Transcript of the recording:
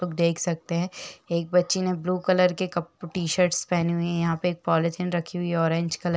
आप लोग देख सकते हैं। एक बच्चे ने ब्लू कलर के कप टी-शर्ट्स पहनी हुई है। यहाँ पे एक पॉलिथीन रखी हुई है ऑरेंज कलर --